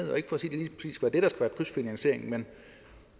er krydsfinansieringen men